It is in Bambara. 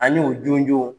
Ani u jɔnjɔnw